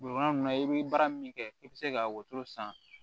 Bolima i be baara min kɛ i be se ka wotoro san